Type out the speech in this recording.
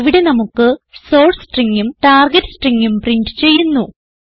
ഇവിടെ നമുക്ക് സോർസ് stringഉം ടാർഗെറ്റ് stringഉം പ്രിന്റ് ചെയ്യുന്നു